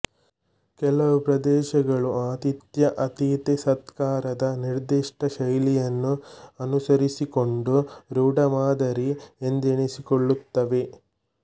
ಕೆಲವು ಪ್ರದೇಶಗಳು ಆತಿಥ್ಯಅತಿಥಿ ಸತ್ಕಾರದ ನಿರ್ದಿಷ್ಟ ಶೈಲಿಯನ್ನು ಅನುಸರಿಸಿಕೊಂಡು ರೂಢಮಾದರಿ ಎಂದೆನಿಸಿಕೊಳ್ಳುತ್ತವೆ